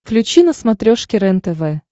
включи на смотрешке рентв